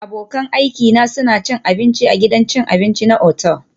Abokan aikina suna cin abinci a gidan cin abinci na otal